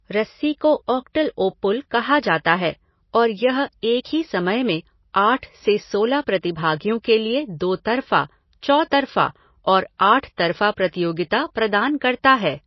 रस्सी को octal O pull कहा जाता है और यह एक ही समय में आठ से सोलह प्रतिभागियों के लिए दो तरफ़ा, चौतरफ़ा और आठ तरफ़ा प्रतियोगिता प्रदान करता है।